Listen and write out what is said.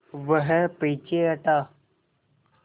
वह पीछे हटा